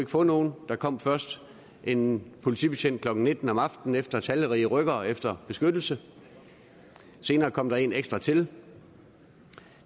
få nogen der kom først en politibetjent klokken nitten om aftenen efter talrige rykkere efter beskyttelse senere kom der en ekstra til